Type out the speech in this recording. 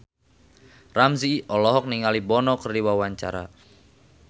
Ramzy olohok ningali Bono keur diwawancara